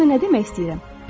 Gör sənə nə demək istəyirəm?